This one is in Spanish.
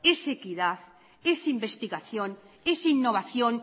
es equidad es investigación es innovación